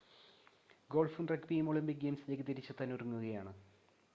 ഗോൾഫും റഗ്‌ബിയും ഒളിമ്പിക് ഗെയിംസിലേക്ക് തിരിച്ചെത്താൻ ഒരുങ്ങുകയാണ്